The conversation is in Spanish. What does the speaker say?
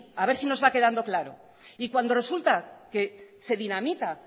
a ver si nos va quedando claro y cuando resulta que se dinamita